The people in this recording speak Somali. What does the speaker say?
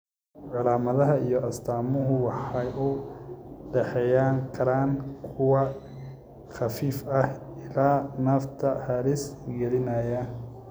Calaamadaha iyo astaamuhu waxay u dhaxayn karaan kuwo khafiif ah ilaa nafta halis gelinaya.